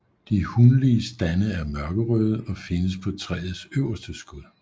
De hunlige stande er mørkerøde og findes på træets øverste skud